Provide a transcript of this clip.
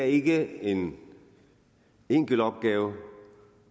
ikke er en enkelt opgave